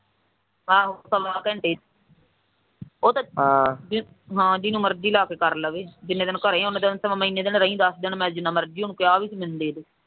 ਆਹੋ ਪੌਣੇ ਘੰਟੇ ਦੀਆਂ ਉਹ ਤਾਂ ਜਿਹਨੂੰ ਮਰਜੀ ਕਰ ਲਵੇ ਜਿੰਨੇ ਦਿਨ ਘਰੇ ਮੈਂ ਦਸ ਦਿਨ ਕਿਹਾ ਸੀ ਮੈਨੂੰ ਦੇਦੇ